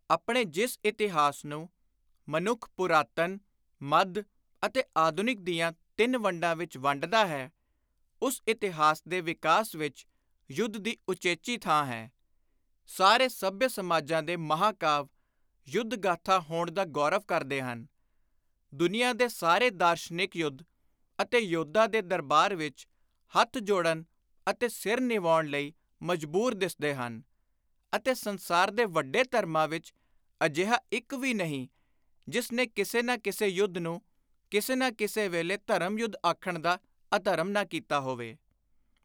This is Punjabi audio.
ਆਪਣੇ ਜਿਸ ਇਤਿਹਾਸ ਨੂੰ, ਮਨੁੱਖ, ਪੁਰਾਤਨ, ਮੱਧ ਅਤੇ ਆਧੁਨਿਕ ਦੀਆਂ ਤਿੰਨ ਵੰਡਾਂ ਵਿਚ ਵੰਡਦਾ ਹੈ, ਉਸ ਇਤਿਹਾਸ ਦੇ ਵਿਕਾਸ ਵਿਚ ਯੁੱਧ ਦੀ ਉਚੇਚੀ ਥਾਂ ਹੈ; ਸਾਰੇ ਸੱਭਿਅ ਸਮਾਜਾਂ ਦੇ ਮਹਾਂਕਾਵ ਯੁੱਧ-ਗਾਥਾ ਹੋਣ ਦਾ ਗੌਰਵ ਕਰਦੇ ਹਨ; ਦੁਨੀਆਂ ਦੇ ਸਾਰੇ ਦਾਰਸ਼ਨਿਕ ਯੁੱਧ ਅਤੇ ਯੋਧਾ ਦੇ ਦਰਬਾਰ ਵਿਚ ਹੱਥ ਜੋੜਨ ਅਤੇ ਸਿਰ ਨਿਵਾਉਣ ਲਈ ਮਜਬੂਰ ਦਿੱਸਦੇ ਹਨ; ਅਤੇ ਸੰਸਾਰ ਦੇ ਵੱਡੇ ਧਰਮਾਂ ਵਿਚ ਅਜਿਹਾ ਇਕ ਵੀ ਨਹੀਂ ਜਿਸ ਨੇ ਕਿਸੇ ਨਾ ਕਿਸੇ ਯੁੱਧ ਨੂੰ ਕਿਸੇ ਨਾ ਕਿਸੇ ਵੇਲੇ ਧਰਮ-ਯੁੱਧ ਆਖਣ ਦਾ ਅਧਰਮ ਨਾ ਕੀਤਾ ਹੋਵੇ।